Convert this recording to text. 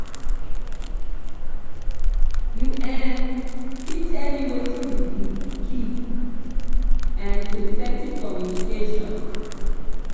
you fit tell me wetin be di key um to effective communication?